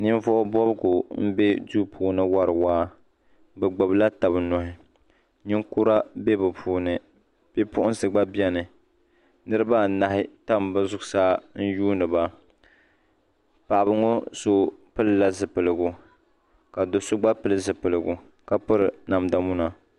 Ninvuɣu bobgu m be duu puuni n wari waa bɛ gbibla taba nuhi ninkura bɛ bɛ puuni bipuɣinsi gba biɛni niriba anahi tam bɛ zuɣusaa yuuni ba paɣaba ŋɔ so pila zipiligu ka do'so gba pili zipilgu ka piri namda muna.